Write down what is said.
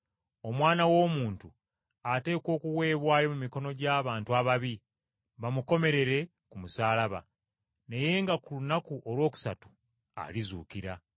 ‘Omwana w’Omuntu, ateekwa okuweebwayo mu mikono gy’abantu ababi, bamukomerere ku musaalaba, naye nga ku lunaku olwokusatu alizuukira.’ ”